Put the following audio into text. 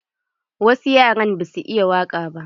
Wasu yaran ba su iya waƙa ba.